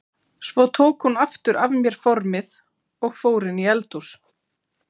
Svo tók hún aftur af mér formið og fór inn í eldhús.